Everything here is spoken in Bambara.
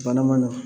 Bana ma nɔgɔ